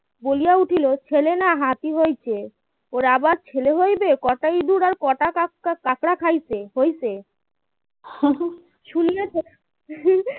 বলিয়া উঠিল ছেলে না হাতি হয়েছে ওরা আবার ছেলে হইবে কটা ইঁদুর আর কটা কাক কাঁকড়া খাইছে হয়েছে শুনিয়া